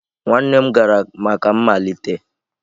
nwanne m gara maka mmalite?